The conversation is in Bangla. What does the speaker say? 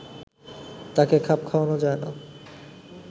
তাকে খাপ খাওয়ানো যায় না